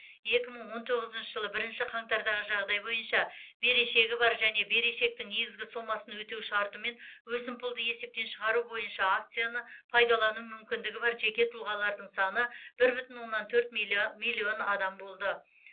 екі мың он тоғызыншы жылы бірінші қаңтардағы жағдай бойынша берешегі бар және берешектің негізгі сомасын өтеу шартымен өсімпұлды есептен шығару бойынша акцияны пайдалану мүмкіндігі бар жеке тұлғалардың саны бір бүтін оннан төрт милиа миллион адам болды